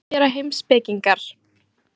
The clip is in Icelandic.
Hvað gera heimspekingar?